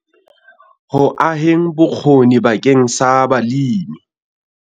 Ho aheng bokgoni bakeng sa balemi